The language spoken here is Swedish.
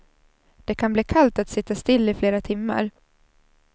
Det kan bli kallt att sitta still i flera timmar.